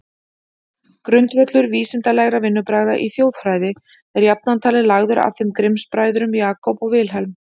Grundvöllur vísindalegra vinnubragða í þjóðfræði er jafnan talinn lagður af þeim Grimms-bræðrum, Jacob og Wilhelm.